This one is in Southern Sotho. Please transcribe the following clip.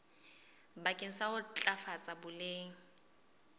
bakeng sa ho ntlafatsa boleng